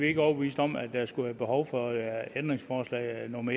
ikke overbeviste om at der skulle være behov for ændringsforslag nummer